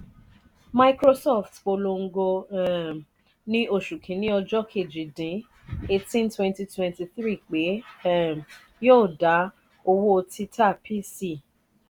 microsoft polongo um ní oṣù kini ọjọ keji dín 182023 pé um yío da owó títa pc.